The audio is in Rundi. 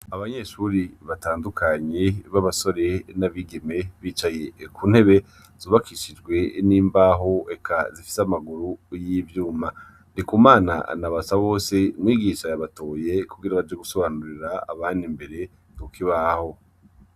Abanyeshuri batandukanyi b'abasore n'abigeme bicaye ku ntebe zubakishijwe n'imbaho eka zifise amaguru y'ivyuma ndi ku mana anabasa bose mwigisha yabatoye kugira baje gusobanurira abandi mbere ntuko ibaho.